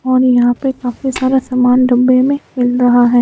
और यहाँ पे काफी सारा सामान डब्बे में मिल रहा है।